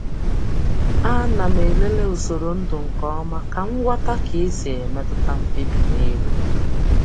A na m elele usoro ndu nke ọma ka m ghọta ka esi emetụta mkpebi n'elu.